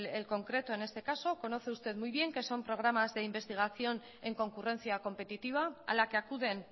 el concreto en este caso conoce usted muy bien que son programas de investigación en concurrencia competitiva a la que acuden